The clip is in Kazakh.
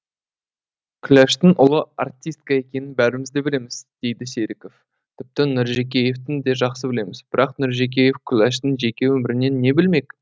күләштің ұлы артистка екенін бәріміз де білеміз дейді серіков тіпті нұржекеевтен де жақсы білеміз бірақ нұржекеев күләштің жеке өмірінен не білмек